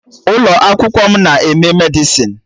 Ụlọ akwụkwọ m na-eme Medịsịn